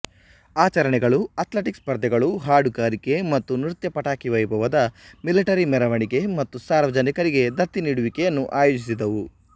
ಆಚರಣೆಗಳು ಅಥ್ಲೆಟಿಕ್ ಸ್ಪರ್ಧೆಗಳು ಹಾಡುಗಾರಿಕೆ ಮತ್ತು ನೃತ್ಯ ಪಟಾಕಿ ವೈಭವದ ಮಿಲಿಟರಿ ಮೆರವಣಿಗೆ ಮತ್ತು ಸಾರ್ವಜನಿಕರಿಗೆ ದತ್ತಿ ನೀಡುವಿಕೆಯನ್ನು ಆಯೋಜಿಸಿದವು